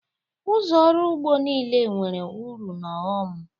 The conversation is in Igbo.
Ụzọ ọrụ ugbo niile nwere uru na ọghọm.